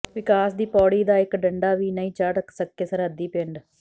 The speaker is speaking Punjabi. ਵਿਕਾਸ ਦੀ ਪੌੜੀ ਦਾ ਇਕ ਡੰਡਾ ਵੀ ਨਹੀਂ ਚੜ੍ਹ ਸਕੇ ਸਰਹੱਦੀ ਪਿੰਡ